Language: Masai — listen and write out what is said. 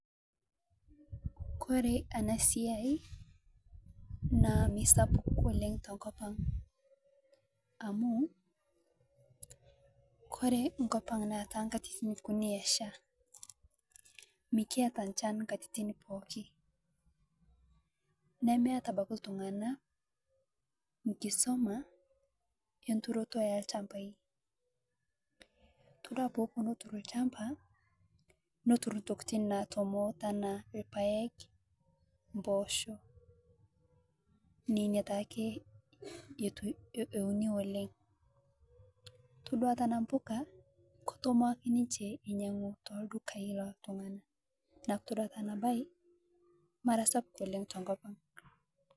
Kore ana siai naa meisapuk oleng te nkop aang amu Kore nkopang naa tankatitin kunii eshaa mikiataa nchan nkatitin pooki nemeata abaki ltung'anaa nkisoma enturotoo elshampai itodua poopuo notur lchampa notur ntokitin natomoo atuwaa lpaeg mposho mposhoo nenia taake eunii oleng itodua tanaa mpuka ketomoo akee ninshe einyeguu teldukai loltungana naa itodua taa ana bai mara sapuk oleng tenkopang